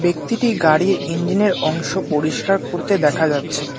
ব্যক্তিটি গাড়ির ইঞ্জিন এর অংশ পরিষ্কার করতে দেখা যাচ্ছে।